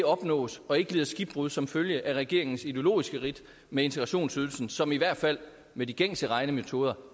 opnås og ikke lider skibbrud som følge af regeringens ideologiske ridt med integrationsydelsen som i hvert fald med de gængse regnemetoder